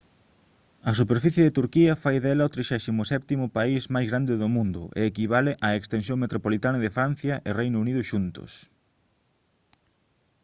a superficie de turquía fai dela o 37.º país máis grande do mundo e equivale á extensión metropolitana de francia e do reino unido xuntos